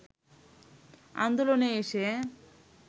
আন্দোলনে এসে